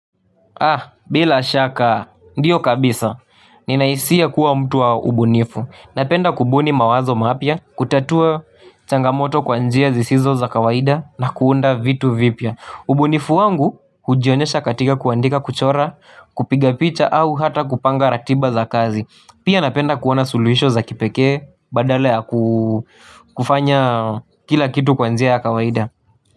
Ah, bila shaka, ndio kabisa. Ninahisia kuwa mtu wa ubunifu. Napenda kubuni mawazo mapya, kutatua changamoto kwa njia zisizo za kawaida na kuunda vitu vipya. Ubunifu wangu hujionyesha katika kuandika, kuchora, kupiga picha au hata kupanga ratiba za kazi. Pia napenda kuona suluhisho za kipekee badala ya kufanya kila kitu kwa njia ya kawaida.